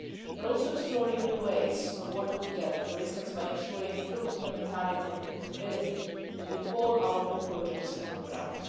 We are also exploring new ways of working together, for instance by ensuring full complementarity and compatibility between all our new projects on the ground.